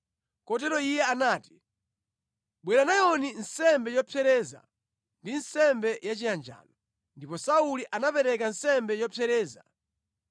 Kotero iye anati, “Bwera nayoni nsembe yopsereza ndi nsembe ya chiyanjano.” Ndipo Sauli anapereka nsembe yopsereza.